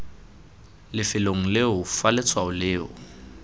lefelong leo fa letshwao leo